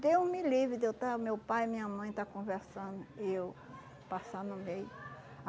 Deus me livre, de eu estar, meu pai e minha mãe estar conversando e eu passar no meio.